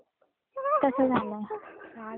चालतय मग घे मुलांची काळजी पण घे.